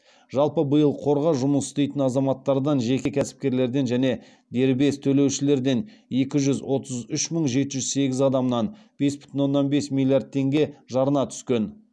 жалпы биыл қорға жұмыс істейтін азаматтардан жеке кәсіпкерлерден және дербес төлеушілерден екі жүз отыз үш мың жеті жүз сегіз адамнан бес бүтін оннан бес миллиард теңге жарна түскен